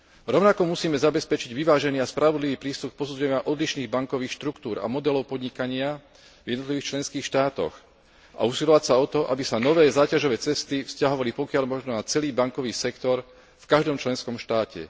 Rovnako musíme zabezpečiť vyvážený a spravodlivý prístup posúdenia odlišných bankových štruktúr a modelov podnikania v jednotlivých členských štátoch a usilovať sa o to, aby sa nové záťažové testy vzťahovali, pokiaľ možno, na celý bankový sektor v každom členskom štáte.